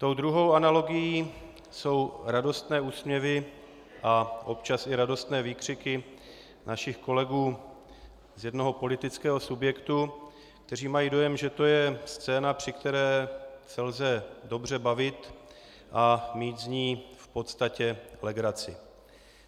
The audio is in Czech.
Tou druhou analogií jsou radostné úsměvy a občas i radostné výkřiky našich kolegů z jednoho politického subjektu, kteří mají dojem, že to je scéna, při které se lze dobře bavit a mít z ní v podstatě legraci.